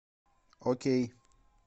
окей